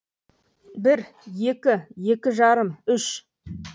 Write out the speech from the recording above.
бір екі екі жарым үш